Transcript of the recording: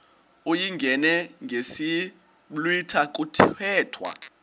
uyingene ngesiblwitha kuthethwa